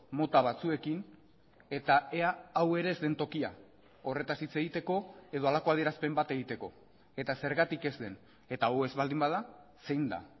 mota batzuekin eta ea hau ere ez den tokia horretaz hitz egiteko edo halako adierazpen bat egiteko eta zergatik ez den eta hau ez baldin bada zein da